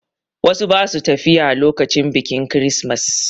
Wasu ba su tafiya lokacin biƙin kirismas.